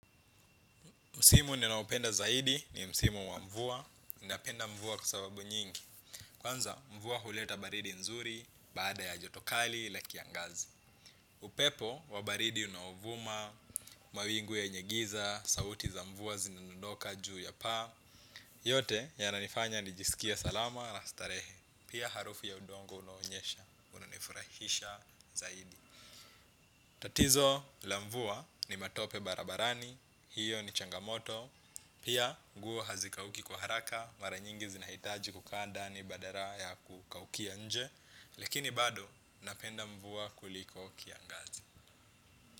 Msimu ninaoupenda zaidi ni msimu wa mvua. Ninapenda mvua kusababu nyingi. Kwanza mvua huleta baridi nzuri baada ya joto kali la kiangazi. Upepo wa baridi unaovuma, mawingu yenye giza, sauti za mvua zinadondoka juu ya paa. Yote yananifanya nijisikie salama na starehe. Pia harufu ya udongo unaonyesha, unanifurahisha zaidi. Tatizo la mvua ni matope barabarani. Hiyo ni changamoto. Pia guo hazikauki kuharaka mara nyingi zinahitaji kukaa ndani badala ya kukaukia nje. Lakini bado napenda mvua kuliko kiangazi.